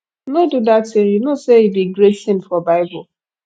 no do dat thing you no know say e be great sin for bible